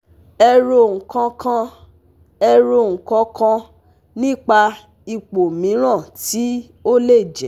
Ero kan kan Ero kan kan nipa ipo miran ti o le je